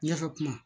Ne ka kuma